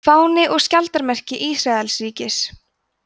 fáni og skjaldarmerki ísraelsríkis